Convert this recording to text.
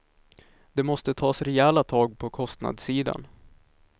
Det måste tas rejäla tag på kostnadssidan.